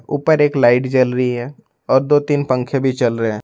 ऊपर एक लाइट जल रही है और दो तीन पंखे भी चल रहे हैं।